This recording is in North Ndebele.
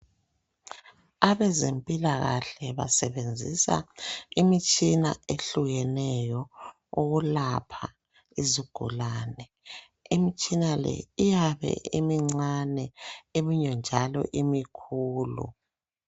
Abezempilakahle basebenzisa imitshina ehlukeneyo ukulapha izigulane, imitshina le iyabe imincane eminye njalo imikhulu.